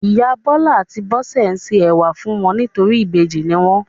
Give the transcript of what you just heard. Ìyá Bọ́lá àti Bólú se ẹ̀wà fún wọn nítorí ìbejì ni wọ́n.